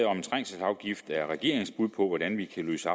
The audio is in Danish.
om en trængselsafgift er regeringens bud på hvordan vi kan løse